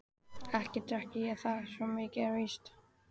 Ekki drekk ég það, svo mikið er víst.